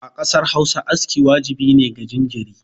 A ƙasar Hausa aski wajibi ne ga jinjiri